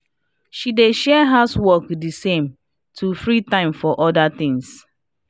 she dey share house work de same to free time for other tings